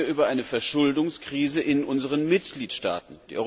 Wir reden hier über eine Verschuldungskrise in unseren Mitgliedstaaten.